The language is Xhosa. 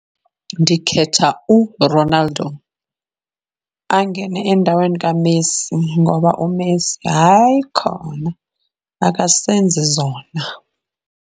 Ndikhetha uRonaldo angene endaweni kaMessi ngoba uMessi hayi khona, akasenzi zona.